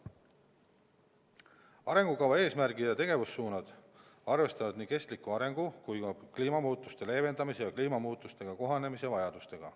Arengukava eesmärgid ja tegevussuunad arvestavad nii kestliku arengu kui ka kliimamuutuste leevendamise ja kliimamuutustega kohanemise vajadustega.